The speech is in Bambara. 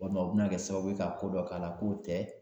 Walima o bina kɛ sababu ye, ka ko dɔ k'a la, k'o tɛ